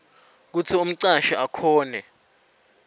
kutsi umcashi akhone